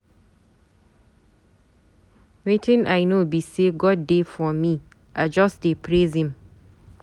Wetin I know be say God dey for me, I just dey praise him.